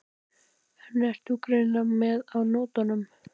En þú ert greinilega með á nótunum.